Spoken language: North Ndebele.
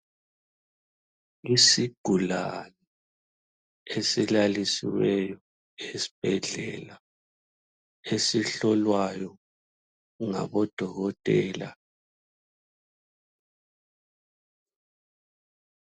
Isigulane esilalisiweyo esibhedlela, esihlolwayo ngabo dokotela.